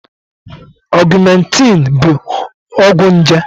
Augmentin bụ ọgwụ nje.